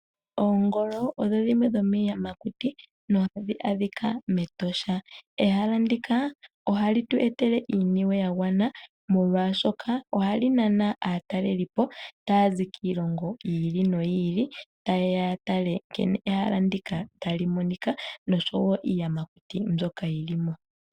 Oongolo odho dhimwe dho miiyamakuti no hadhi adhika mEtosha. Ehala ndika ohali tu etela iiniwe ya gwana molwashoka ohali nana aatalelipo taya zi kiilongo yi ili noyi ili. Ta yeya ya tale nkene ehala ndika tali monika nosho wo iiyamakuti mbyoka yi limo.